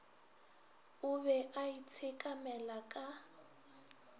o be a itshekamela ka